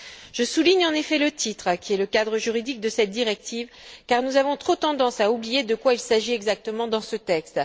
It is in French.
Je souligne en effet le titre qui est le cadre juridique de cette directive car nous avons trop tendance à oublier de quoi il s'agit exactement dans ce texte.